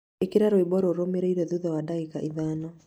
ĩkira rwĩmbo rũmĩrĩire thutha wa ndagĩka ithano